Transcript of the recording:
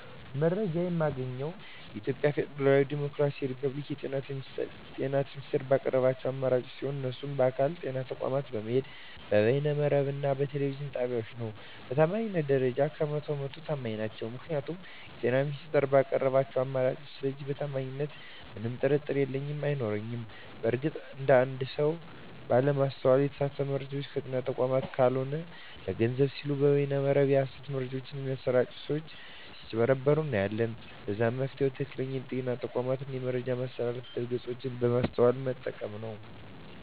መረጃ የማገኘዉ የኢትዮጵያ ፌደራላዊ ዲሞክራሲያዊ የፐብሊክ የጤና ሚኒስቴር ባቀረባቸዉ አማራጮች ሲሆን እነሱም በአካል (ጤና ተቋማት በመሄድ)፣ በበይነ መረብ እና በቴሌቪዥን ጣቢያወች ነዉ። በታማኝነት ደረጃ 100 በ 100 ተማኝ ናቸዉ ምክንያቱም የጤና ሚኒስቴሩ ባቀረባቸዉ አማራጮች ስለሆነ በታማኝነቱ ምንም ጥርጥር የለኝም አይኖረኝም። በእርግጥ አንድ አንድ ሰወች ባለማስተዋል የተሳሳቱ መረጃወችን ከጤና ተቋማት ካልሆኑ ለገንዘብ ሲሉ በበይነ መረብ የሀሰት መረጃወች በሚያሰራጪ ሰወች ስጭበረበሩ እናያለን ለዛም መፍትሄዉ ትክክለኛዉ የጤና ተቋሙን የመረጃ ማስተላለፊያ ድረገፆች በማስተዋል መጠቀም ነዉ።